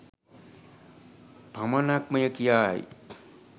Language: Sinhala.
පමණක්මය කියායි.